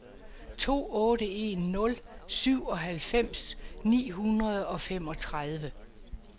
to otte en nul syvoghalvfems ni hundrede og femogtredive